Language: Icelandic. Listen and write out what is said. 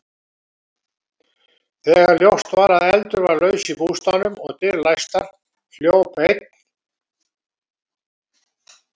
Þegar ljóst var að eldur var laus í bústaðnum og dyr læstar, hljóp einn